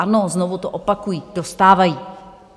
Ano, znovu to opakuji, dostávají.